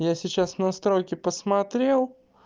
я сейчас настройки посмотрел